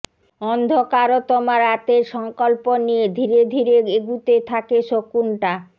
অন্ধকার তমা রাতের সংকল্প নিয়ে ধীরে ধীরে এগুতে থাকে শকুনটা